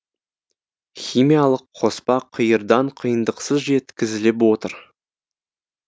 химиялық қоспа қиырдан қиындықсыз жеткізіліп отыр